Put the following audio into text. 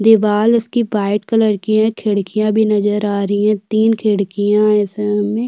दिवाल इसकी white colour की है खिड़कियां भी नज़र आ रहीं है तीन खिड़कियां है इसमें।